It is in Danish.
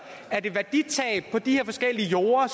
at et værditab på de her forskellige jorde